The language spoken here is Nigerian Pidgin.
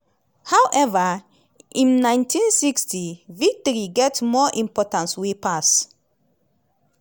however im 1960 victory get more importance wey pass